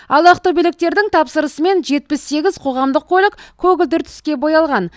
ал ақтөбеліктердің тапсырысымен жетпіс сегіз қоғамдық көлік көгілдір түске боялған